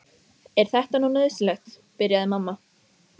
Er þetta nú nauðsynlegt, byrjaði mamma.